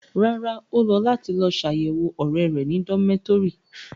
Rárá, o lọ lati lọ ṣayẹwo ọrẹ rẹ ni domitọri